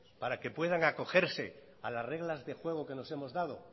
para que puedan acogerse a las reglas de juego que nos hemos dado